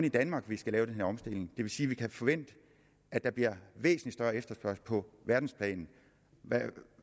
i danmark vi skal lave den her omstilling det vil sige at vi kan forvente at der bliver væsentlig større efterspørgsel på verdensplan